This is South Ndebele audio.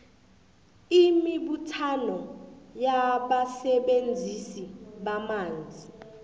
imibuthano yabasebenzisi bamanzi